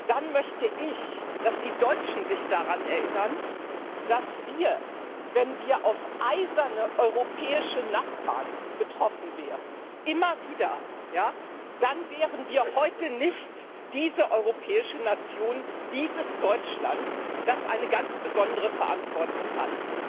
Dann möchte ich, dass die Deutschen sich daran erinnern, dass wir, wenn wir auf eiserne europäische Nachbarn getroffen wären immer wieder nicht diese europäische Nation, dieses Deutschland wären, das eine ganz besondere Verantwortung hat.